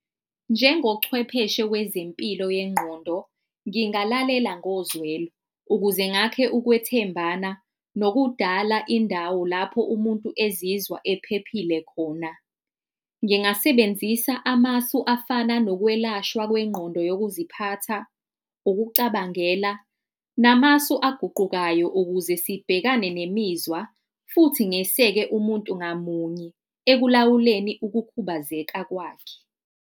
Njengochwepheshe wezempilo yengqondo, ngingalalela ngozwelo, ukuze ngakhe ukwethembana nokudala indawo lapho umuntu ezizwa ephephile khona. Ngingasebenzisa amasu afana nokwelashwa kwengqondo yokuziphatha, ukucabangela, namasu aguqukayo ukuze sibhekane nemizwa futhi ngeseke umuntu ngamunye ekulawuleni ukukhubazeka kwakhe.